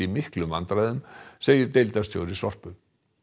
miklum vandræðum segir deildarstjóri Sorpu